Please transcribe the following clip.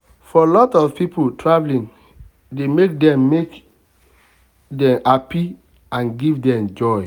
for lot of people traveling dey make dem make dem happy and give dem joy.